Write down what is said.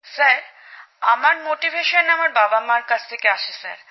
sir আমার অনুপ্রেরণা আমার বাবামার থেকে আসে স্যার